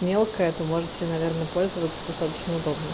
мелкая то можете наверное пользоваться достаточно удобно